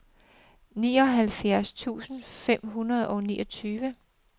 treoghalvfjerds tusind fem hundrede og niogtyve